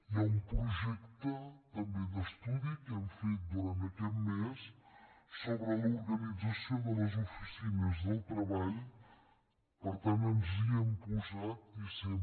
hi ha un projecte també d’estudi que hem fet durant aquest mes sobre l’organització de les oficines del treball per tant ens hi hem posat i ho fem